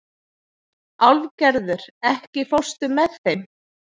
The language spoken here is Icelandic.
Álfgerður, ekki fórstu með þeim?